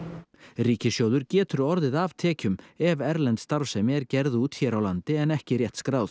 ríkissjóður getur orðið af tekjum ef erlend starfsemi er gerð út hér á landi en ekki rétt skráð